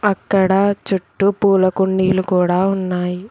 అక్కడ చుట్టూ పూల కుండీలు కూడా ఉన్నాయి.